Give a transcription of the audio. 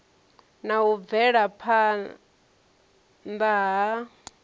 na u bvela phana ha